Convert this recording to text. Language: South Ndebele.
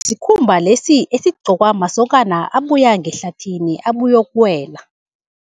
Sikhumba lesi esigqokwa masokana abuya ngehlathini, abuyokuwela.